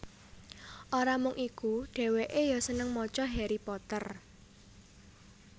Ora mung iku dhèwèkè ya seneng maca Harry Potter